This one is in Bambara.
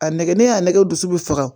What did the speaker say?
A nɛgɛ ne y'a nɛgɛ dusu bɛ faga